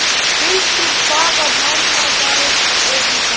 Hildur, hvaða mánaðardagur er í dag?